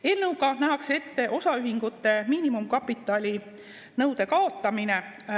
Eelnõuga nähakse ette osaühingute miinimumkapitali nõude kaotamine.